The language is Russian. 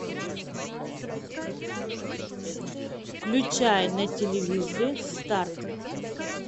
включай на телевизоре старт